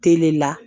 Tele la